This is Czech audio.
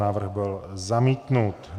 Návrh byl zamítnut.